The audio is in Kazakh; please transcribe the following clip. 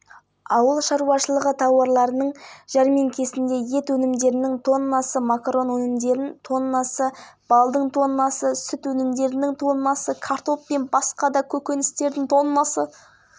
жұмысшылар мәжіліс депутаттары тұратын нұрсая тұрғын үй кешенінің шатырынан қапшықтарды жерге лақтырды деп хабарлайды оқиға көрініс тапқан видеоролик фейсбуктағы парақшасына жарияланды